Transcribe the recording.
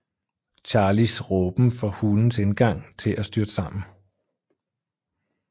Charlies råben får hulens indgang til at styrte sammen